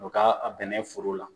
U ka a sɛnɛ foro la.